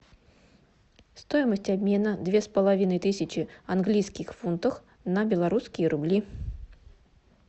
стоимость обмена две с половиной тысячи английских фунтах на белорусские рубли